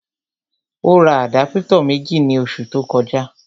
Ó ra àdápútọ̀ méjì ní oṣù tó kọjá